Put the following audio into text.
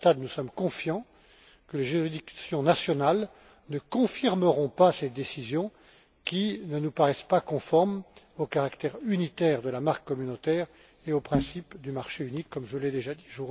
À ce stade, nous sommes confiants que les juridictions nationales ne confirmeront pas ces décisions qui ne nous paraissent pas conformes au caractère unitaire de la marque communautaire et aux principes du marché unique, comme je l'ai déjà dit.